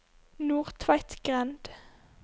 Nordtveitgrend